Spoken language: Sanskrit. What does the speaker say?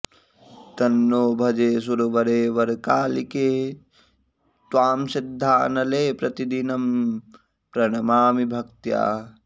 तन्नो भजे सुरवरे वरकालिके त्त्वां सिद्धानले प्रतिदिनम्प्रणमामि भक्त्या